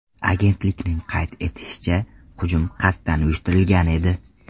Agentlikning qayd etishicha, hujum qasddan uyushtirilgan edi.